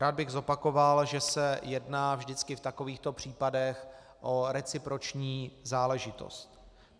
Rád bych zopakoval, že se jedná vždycky v takovýchto případech o reciproční záležitost.